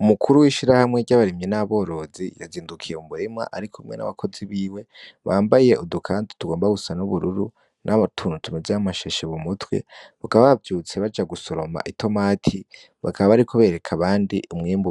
Umukuru w'ishirahamwe ry'abarimyi n'aborozi yazindukiye mumurima arikumwe n'abakozi biwe, bambaye udukanzu tugomba gusa n'ubururu ,n'utuntu tumeze nk'amashashe m'umutwe ,bakaba bavyutse baja gusoroma itomati, bakaba bariko bereka abandi